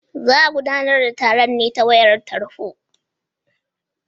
Za a gudanar da taron ne ta wayar tarho.